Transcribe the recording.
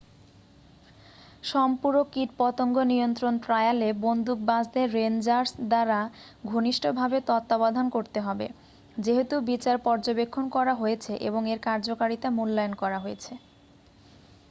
সম্পূরক কীটপতঙ্গ নিয়ন্ত্রণ ট্রায়ালে বন্দুকবাজদের রেন্জার্স দ্বারা ঘনিষ্ঠভাবে তত্ত্বাবধান করতে হবে যেহেতু বিচার পর্যবেক্ষণ করা হয়েছে এবং এর কার্যকারিতা মূল্যায়ন করা হয়েছে